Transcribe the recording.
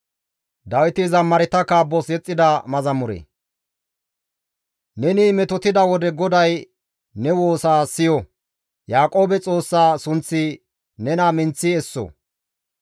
Neni metotida wode GODAY ne woosa siyo; Yaaqoobe Xoossa sunththi nena minththi esso.